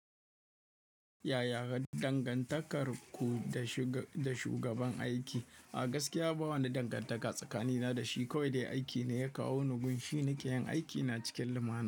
Yaya dangantakar ku da shugaban aiki? A gaskiya ba wani dangantaka tsakanina da shi. Kowai dai aiki ne ya kawo ni gun shi. Ni ke yin aikina cikin lumana.